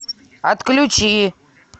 отключи